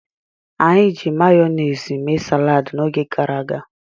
Anyi ji mayonezi mee salad n'oge garaga